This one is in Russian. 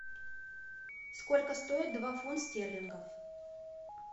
сколько стоит два фунт стерлингов